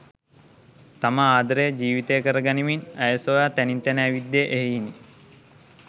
තම ආදරය ජීවිතය කර ගනිමින් ඇය සොයා තැනින් තැන ඇවිද්දේ එහෙයිනි.